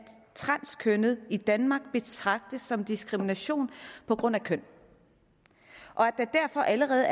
transkønnede i danmark betragtes som diskrimination på grund af køn og at der derfor allerede